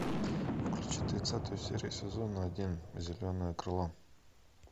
включи тридцатую серию сезона один зеленое крыло